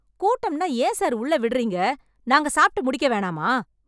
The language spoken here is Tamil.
கூட்டம்னா ஏன் சார் உள்ள விடறீங்க... நாங்க சாப்ட்டு முடிக்க வேணாமா?